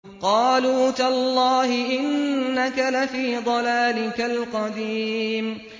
قَالُوا تَاللَّهِ إِنَّكَ لَفِي ضَلَالِكَ الْقَدِيمِ